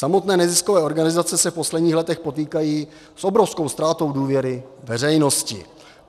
Samotné neziskové organizace se v posledních letech potýkají s obrovskou ztrátou důvěry veřejnosti.